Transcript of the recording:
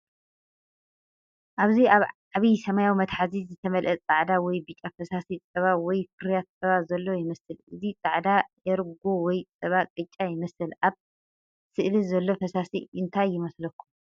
ኣብዚ ኣብ ዓቢ ሰማያዊ መትሓዚ ዝተመልአ ጻዕዳ ወይ ብጫ ፈሳሲ ጸባ ወይ ፍርያት ጸባ ዘሎ ይመስል። እዚ ጻዕዳ ኤርጎ ወይ ጸባ ቅጫ ይመስል። ኣብ ስእሊ ዘሎ ፈሳሲ እንታይ ይመስለኩም?